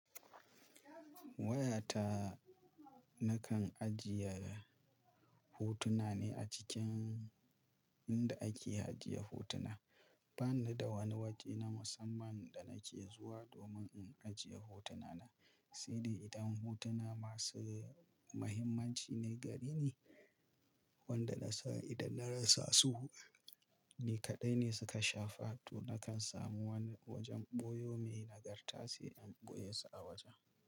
Wayata nakan ajiye hotuna ne a cikin inda ake ajiye hotuna. Bani da wani waje na musamman da nake zuwa domin in ajiye hotuna na, sai dai idan hotuna masu mahimmanci ne, gare ni wanda na san idan na rasa su ni kaɗai ne suka shafa. To nakan samu wani wajen ɓoyo mai nagarta sai in ɓoye su a wajen.